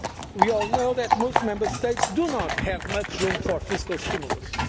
growth. We all know that most Member States do not have much room for fiscal